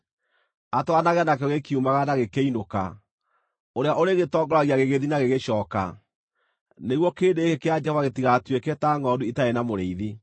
atwaranage nakĩo gĩkiumagara na gĩkĩinũka, ũrĩa ũrĩgĩtongoragia gĩgĩthiĩ na gĩgĩcooka, nĩguo kĩrĩndĩ gĩkĩ kĩa Jehova gĩtigatuĩke ta ngʼondu itarĩ na mũrĩithi.”